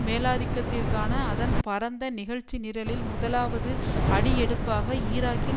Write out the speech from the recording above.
மேலாதிக்கத்திற்கான அதன் பரந்த நிகழ்ச்சிநிரலில் முதலாவது அடிஎடுப்பாக ஈராக்கின்